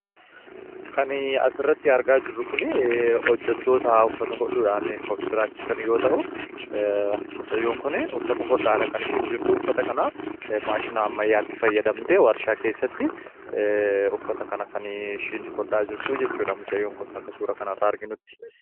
kan as irratti argaa jirru kun hojjatoota uffata hodhudhaan of jiraachisan yoo ta'u mucayyoon kun uffata hodhaadha kan isheen jirtu uffata kana maashinaa ammayaatti fayyadamtee warshaa keessatti uffata kana kan ishiin hodhaa jirtu jechuudha mucayyoon kun akka suura kan irraa arginutti